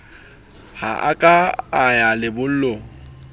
ha a ka ya lebollong